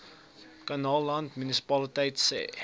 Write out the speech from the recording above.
kannaland munisipaliteit se